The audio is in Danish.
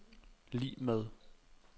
lig med